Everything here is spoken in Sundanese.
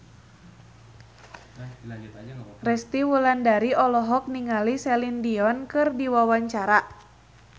Resty Wulandari olohok ningali Celine Dion keur diwawancara